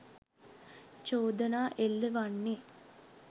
චෝදනා එල්ල වන්නේ